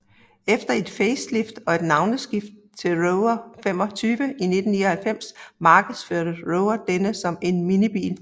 Efter et facelift og navneskift til Rover 25 i 1999 markedsførte Rover denne som en minibil